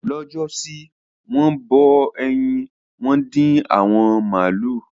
Lọ́jọ́ sí, wọ́n bọ ẹyin, wọ́n dín awọ màlúù.